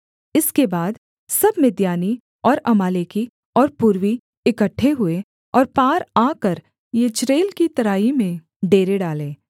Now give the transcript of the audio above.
इसके बाद सब मिद्यानी और अमालेकी और पूर्वी इकट्ठे हुए और पार आकर यिज्रेल की तराई में डेरे डाले